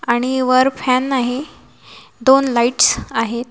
आणि वर फॅन नाही दोन लाईट्स आहेत.